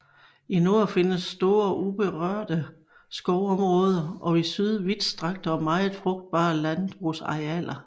I nord findes store uberørte skovområder og i syd vidstrakte og meget frugtbare landbrugsarealer